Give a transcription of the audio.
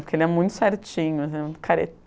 Porque ele é muito certinho, é muito